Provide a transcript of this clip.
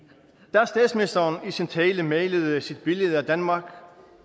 da statsministeren i sin tale malede sit billede af danmark